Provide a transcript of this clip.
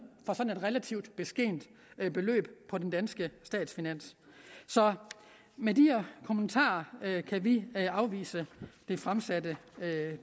for sådan et relativt beskedent beløb på de danske statsfinanser så med de kommentarer kan vi afvise det fremsatte